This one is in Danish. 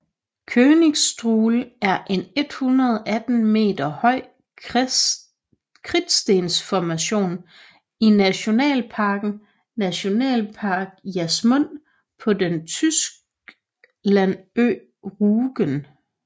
Königsstuhl er en 118 meter høj kridtstensformation i nationalparken Nationalpark Jasmund på den Tyskland ø Rügen